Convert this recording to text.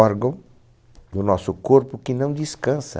órgão do nosso corpo que não descansa.